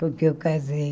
Porque eu casei.